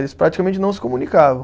Eles praticamente não se comunicavam.